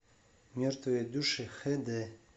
мертвые души хд